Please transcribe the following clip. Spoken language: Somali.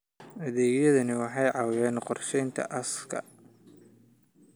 Adeegyadani waxay caawiyaan qorsheynta aaska.